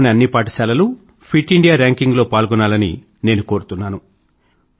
దేశం లోని అన్ని పాఠశాలలూ ఫిట్ ఇండియా ర్యాంకింగ్ లో పాల్గొనాలని నేను కోరుతున్నాను